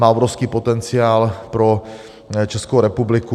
Má obrovský potenciál pro Českou republiku.